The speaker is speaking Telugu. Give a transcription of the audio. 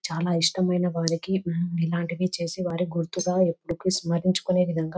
చాలా ఇష్టమైన వారికి ఉమ్ ఇలాంటి చేసేవారిని గుర్తుగా ఎప్పటికి స్మరించ్చుకునే విధంగా స్మరించే విధంగా --